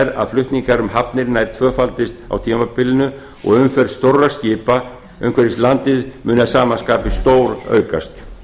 er að flutningar um hafnir nær tvöfaldist á tímabilinu og umferð stórra skipa umhverfis landið muni að sama skapi stóraukast